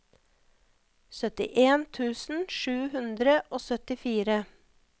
syttien tusen sju hundre og syttifire